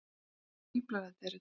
Hvaða fíflalæti eru þetta!